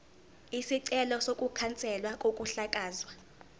isicelo sokukhanselwa kokuhlakazwa